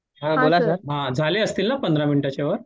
हां झाले असतील ना पंधरा मिनिटाच्या वर